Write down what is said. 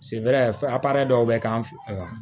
a dɔw bɛ k'an fɛ yan